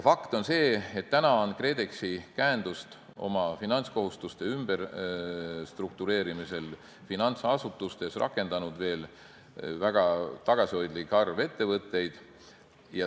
Fakt on see, et KredExi käendust oma finantskohustuste ümberstruktureerimiseks finantsasutustes on rakendanud väga tagasihoidlik arv ettevõtteid.